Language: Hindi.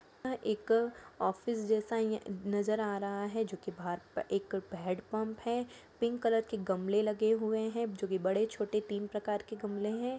यह एक अ ऑफिस जैसा नजर आ रहा है जो की बाहर एक हेड पम्प है पिंक कलर के गमले लगे हुए है जो की बड़े छोटे हैं।